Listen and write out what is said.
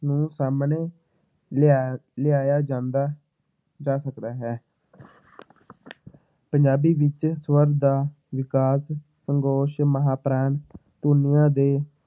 ਨੂੰ ਸਾਹਮਣੇ ਲਿਆ ਲਿਆਇਆ ਜਾਂਦਾ ਜਾ ਸਕਦਾ ਪੰਜਾਬੀ ਵਿੱਚ ਸਵਰ ਦਾ ਵਿਕਾਸ ਸਗੋਸ਼ ਮਹਾਂਪਰਾਣ ਧੁਨੀਆਂ ਦੇ